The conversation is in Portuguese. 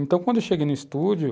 Então, quando eu cheguei no estúdio,